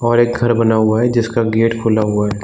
और एक घर बना हुआ है जिसक गेट खुला हुआ हैं ।